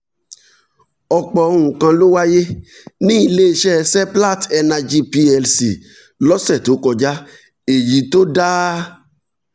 ọ̀pọ̀ nǹkan ló wáyé ní ilé iṣẹ́ seplat energy plc lọ́sẹ̀ tó kọjá èyí tó dá